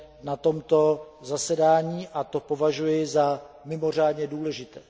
na tomto zasedání, a to považuji za mimořádně důležité.